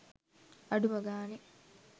අඩුම ගානෙ